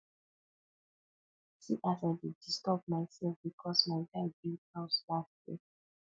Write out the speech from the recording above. see as i dey disturb mysef because my guy build house last year